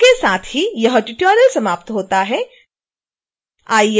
इसके साथ ही यह ट्यूटोरियल समाप्त होता है